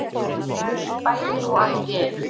Bæði og allt í einu